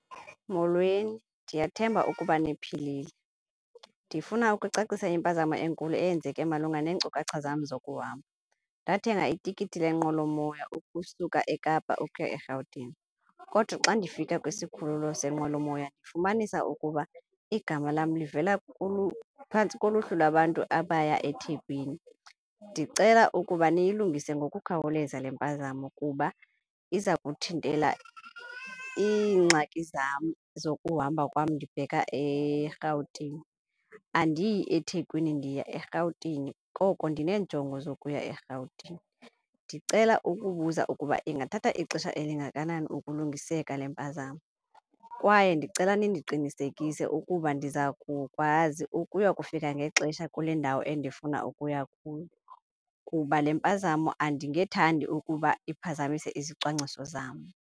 Molweni, ndiyathemba ukuba ndiphilile. Ndifuna ukucacisa impazamo enkulu eyenzeka malunga neenkcukacha zam zokuhamba. Ndathenga itikiti yenqwelomoya ukusuka eKapa ukuya erhawutini kodwa xa ndifika kwisikhululo senqwelomoya ndifumanisa ukuba igama lam livela phantsi koluhlu lwabantu abaya eThekwini. Ndicela ukuba niyilungise ngokukhawuleza le mpazamo kuba iza kuthintela iingxaki zam zokuhamba kwam ndibheka eRhawutini. Andiyi eThekwini, ndiya eRhawutini koko ndineenjongo zokuya eRhawutini. Ndicela ukubuza ukuba ingathatha ixesha elingakanani ukulungiseleka le mpazamo? Kwaye ndicela nindiqinisekise ukuba ndiza kukwazi ukuya kufika ngexesha kule ndawo endifuna ukuya kuyo kuba le mpazamo andingethandi ukuba iphazamise izicwangciso zam.